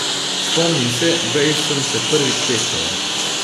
Spomnim se, kdaj sem se prvič tehtala.